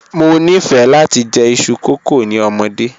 Mo nifẹ lati jẹ iṣu kókò ni ọmọde.